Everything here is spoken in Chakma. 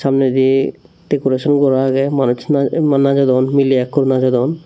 samnedi decoration gora age manuchune emma najodon mile ek hur najodon.